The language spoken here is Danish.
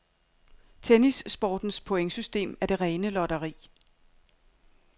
Tennissportens pointsystem er det rene lotteri.